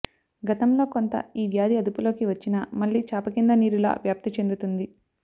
గతంలో కొంత ఈ వ్యాధి అదుపులోకి వచ్చినా మళ్లీ చాపకింద నీరులా వ్యాప్తి చెందుంది